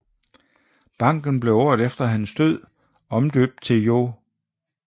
Banken blev året efter hans død omdøbt til Joh